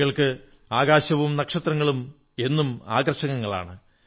കുട്ടികൾക്ക് ആകാശവും നക്ഷത്രങ്ങളും എന്നും ആകർഷകങ്ങളാണ്